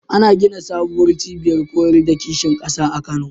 Ana gina sabuwar cibiyar koyar da kishin ƙasa a Kano.